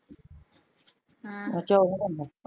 ਹਾ ਅੱਛਾ ਓਹੋ ਕਰਨੀ ਆ